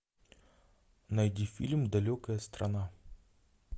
найди фильм далекая страна